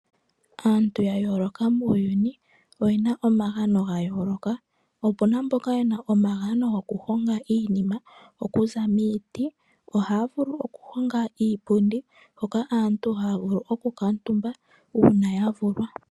Aantu ya yooloka muuyuni oye na omagano ga yooloka, opu na mboka ye na omagano gokuhonga iinima okuza miiti. Ohaya vulu okuhonga iipundi hoka aantu haya vulu okukuutumba uuna ya vulwa.